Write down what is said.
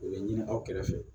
U bɛ ɲini aw kɛrɛfɛ